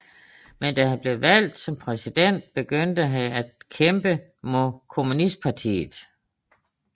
Men da han blev valgt som præsident begyndte han at kæmpe mod kommunistpartiet